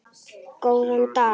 Góðan dag!